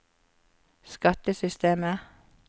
skattesystemet